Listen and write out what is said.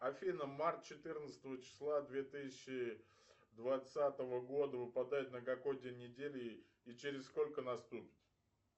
афина март четырнадцатого числа две тысячи двадцатого года выпадает на какой день недели и через сколько наступит